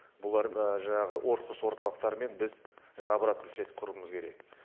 бұлар жаңағы орхус орталықтарымен біз жаңағы обратно связь құруымыз керек